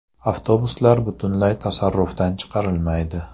Avtobuslar butunlay tasarrufdan chiqarilmaydi.